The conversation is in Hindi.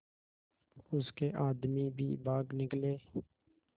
उसके आदमी भी भाग निकले